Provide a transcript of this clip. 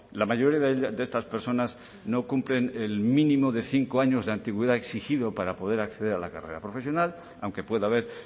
la mayoría de estas personas no cumplen el mínimo de cinco años de antigüedad exigido para poder acceder a la carrera profesional aunque pueda haber